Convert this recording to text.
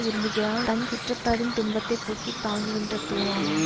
விரும்புகிறான் தன் சுற்றத்தாரின் துன்பத்தை போக்கி தாங்குகின்ற தூண் ஆவான்